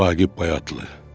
Vaqif Bayatlı.